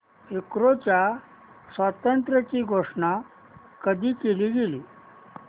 युक्रेनच्या स्वातंत्र्याची घोषणा कधी केली गेली